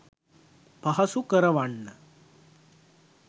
පහසු කරවන්න